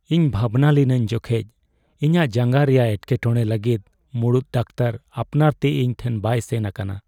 ᱤᱧ ᱵᱷᱟᱵᱽᱱᱟ ᱞᱤᱱᱟᱹᱧ ᱡᱚᱠᱷᱮᱡ ᱤᱧᱟᱹᱜ ᱡᱟᱝᱜᱟ ᱨᱮᱭᱟᱜ ᱮᱴᱠᱮᱴᱚᱬᱮ ᱞᱟᱹᱜᱤᱫ ᱢᱩᱲᱩᱫ ᱰᱟᱠᱛᱟᱨ ᱟᱯᱱᱟᱨ ᱛᱮ ᱤᱧ ᱴᱷᱮᱱ ᱵᱟᱭ ᱥᱮᱱ ᱟᱠᱟᱱᱟ ᱾